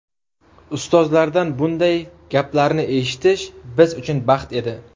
Ustozlardan bunday gaplarni eshitish biz uchun baxt edi.